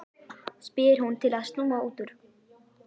spyr hún til að snúa út úr.